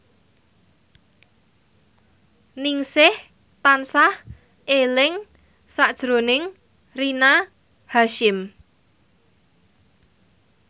Ningsih tansah eling sakjroning Rina Hasyim